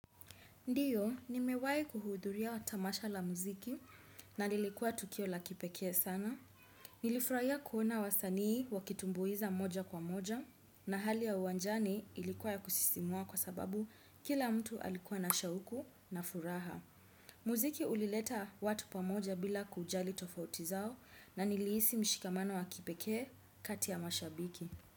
Ndiyo, ni mewai kuhudhuria watamasha la muziki na nilikuwa tukio la kipekee sana. Nilifurahia kuona wasanii wakitumbuiza moja kwa moja na hali ya uanjani ilikuwa ya kusisimua kwa sababu kila mtu alikuwa na shauku na furaha. Muziki ulileta watu pamoja bila kujali tofauti zao na niliisi mshikamano wa kipeke kati ya mashabiki.